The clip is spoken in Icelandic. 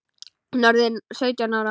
Hún orðin sautján ára.